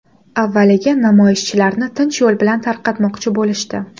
Avvaliga namoyishchilarni tinch yo‘l bilan tarqatmoqchi bo‘lishdi.